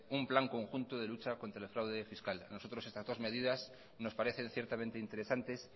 un plan conjunto de lucha contra el fraude fiscal nosotros estas dos medidas nos parecen ciertamente interesantes